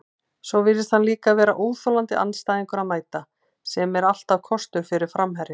Svo virðist hann líka vera óþolandi andstæðingur að mæta, sem er alltaf kostur fyrir framherja.